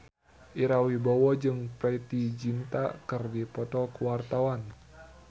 Ira Wibowo jeung Preity Zinta keur dipoto ku wartawan